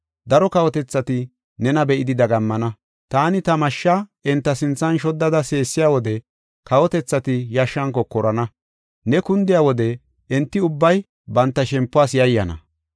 Daro kawotethati nena be7idi dagammana. Taani ta mashsha enta sinthan shoddada seesiya wode, kawotethati yashshan kokorana; ne kundiya wode enti ubbay banta shempuwas yayyana.